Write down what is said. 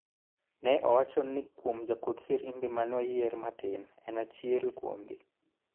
Ne owachoni kuomjokudh firimbi mane oyier matin en achie lkuomgi